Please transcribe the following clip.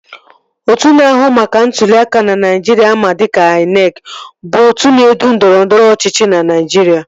Otu na-ahụ maka ntụli aka ná Naijiria ama dịka INEC bụ otu na-edu ndọrọndọrọ ọchịchị na Naijiria